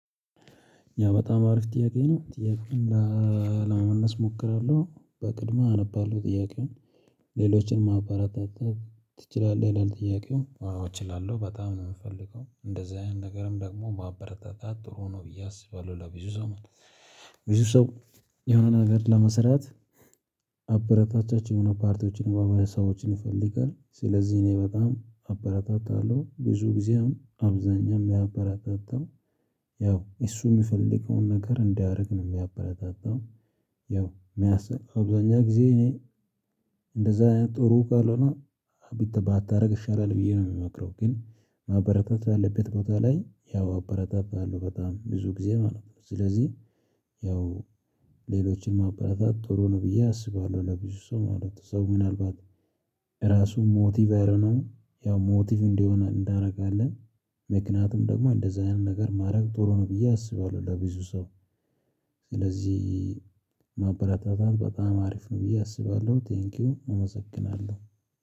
ያ በጣም አሪፍ ጥያቄ ነው። ጥያቄውን ለመመልስ እሞክራለሁ በቅድሚ አነባለሁ ጥያቄውን ሌሎችን ማበረታታት ትችላለህ ይላል ጥያቄው? አዎ እችላለሁ በጣም ነው እምፈልገው እንደዚህ አይነት ነገርም ደግሞ ማበረታታት ጥሩ ነው ብዬ አስባለሁ ለብዙ ሰው ማለት ነው። ብዙ ሰው የሆነ ነገር ለመሰራት አበረታታች የሆነ ፓርቲዎችን ወይም ሀሳቦችን ይፈልጋል። ስለዚህ እኔ በጣም አበራታታለሁ ብዙ ጊዜ አብዛኛም እማበረታታው ያው እሱ እሚፈልገውን ነገር እንዲያደርግ ነው። እማበረታታው። ያው የሚያስቅ አብዛኛው ጊዜ እኔ እንደዛ ጥሩ ካልሆነ ባታደርግ ይሻላል ብዬ ነው እምመክረው። ግን ማበረታት ባለበት ቦታ ላይ ያው አበረታታለው በጣም ብዙ ጊዜ ማለት ነው። ስለዚህ ያው ሌሎችንም ማበራታት ጥሩ ነው ብዬ አስባለሁ ለብዙ ሰው ማለት ነው። ሰው ምናልባት ራሱ ሞቲቭ አይኖረውም። ሞቲቭ እንዲሆን አደርጋለው። ምክንያቱም ደግሞ እንደዚህ አይነት ነገር ማድረግ ጥሩ ነው ብዬ አስባለሁ ለብዙ ሰው ስለዚህ ማበረታታት በጣም አሪፍ ነው ብዬ አስባለሁ። ቴንኪው እመሰግናለሁ